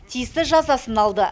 тиісті жазасын алды